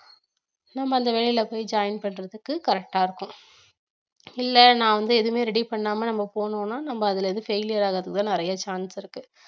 நம்ம அந்த வேலையில போய் join பண்றதுக்கு correct ஆ இருக்கும் இல்ல நான் வந்து எதுவுமே ready பண்ணாம நம்ம போனோம்னா நம்ம அதுல வந்து failure ஆகுறதுக்குத்தான் நிறைய chance இருக்கு